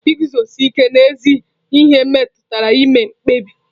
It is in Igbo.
Iguzosi ike n'ezi ihe metụtara ime mkpebi.